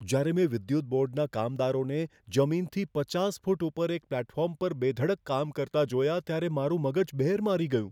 જ્યારે મેં વિદ્યુત બોર્ડના કામદારોને જમીનથી પચાસ ફૂટ ઉપર એક પ્લેટફોર્મ પર બેધડક કામ કરતાં જોયાં ત્યારે મારું મગજ બહેર મારી ગયું.